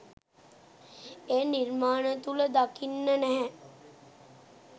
ඒ නිර්මාණ තුළ දකින්න නැහැ.